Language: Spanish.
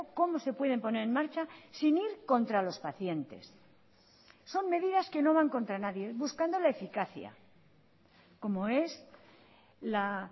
cómo se pueden poner en marcha sin ir contra los pacientes son medidas que no van contra nadie buscando la eficacia como es la